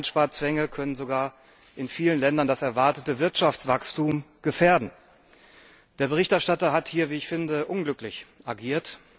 Einsparzwänge können sogar in vielen Ländern das erwartete Wirtschaftswachstum gefährden. Der Berichterstatter hat hier unglücklich agiert.